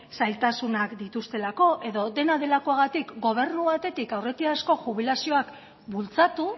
zailtasunak dituztelako edo dena delakoagatik gobernu batetik aurretiazko jubilazioak bultzatu